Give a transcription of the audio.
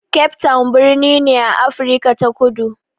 Cape town birni ne a Afrika ta Kudu.